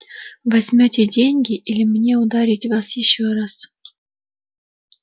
возьмёте деньги или мне ударить вас ещё раз